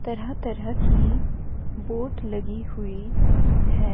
तरह तरह की बोट लगी हुई है।